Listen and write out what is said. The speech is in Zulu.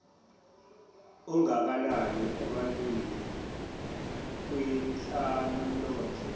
ongakanani ebantwini kwinhlalonhle